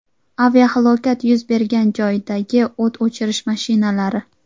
Aviahalokat yuz bergan joydagi o‘t o‘chirish mashinalari.